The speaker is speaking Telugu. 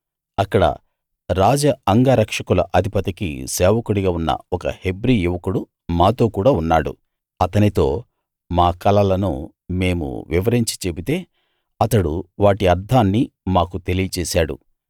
అక్కడ రాజ అంగ రక్షకుల అధిపతికి సేవకుడిగా ఉన్న ఒక హెబ్రీ యువకుడు మాతో కూడ ఉన్నాడు అతనితో మా కలలను మేము వివరించి చెబితే అతడు వాటి అర్థాన్ని మాకు తెలియచేశాడు